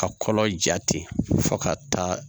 Ka kɔlɔ ja ten fo ka taa